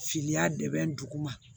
Fili y'a dɛmɛ dugu ma